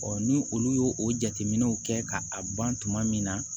ni olu y'o o jateminɛw kɛ ka a ban tuma min na